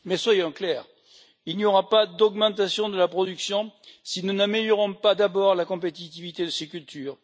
Mais soyons clairs il n'y aura pas d'augmentation de la production si nous n'améliorons pas d'abord la compétitivité de ces cultures.